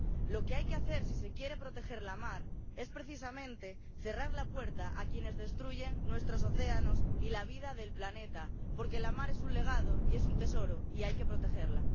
Lo que hay que hacer, si se quiere proteger la mar, es precisamente cerrar la puerta a quienes destruyen nuestros océanos y la vida del planeta, porque la mar es un legado y es un tesoro y hay que protegerla.